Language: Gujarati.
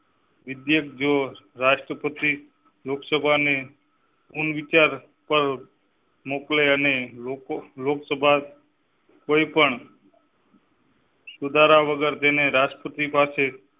રાષ્ટ્રપતિ લોકસભા ને વિચાર પર મોકલે અને લોક~લોકસભા કોઈપણ. સુધારા વગર તેને રાષ્ટ્રપતિ પાસે